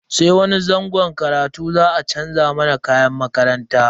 Sai wani zangon karatu za a chanza mana kayan makaranta.